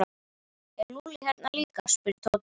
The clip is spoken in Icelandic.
Er Lúlli hérna líka? spurði Tóti.